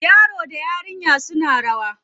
Yaron da yarinyar suna rawa.